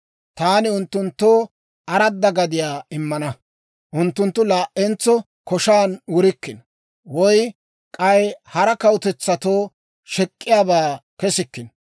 Taani unttunttoo aradda gadiyaa immana; unttunttu laa"entso koshan wurikkino; woy k'ay hara kawutetsatoo shek'k'iyaabaa kesikkino.